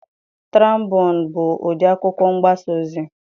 Traịbuun bụ ụdị akwụkwọ mgbasa ozi.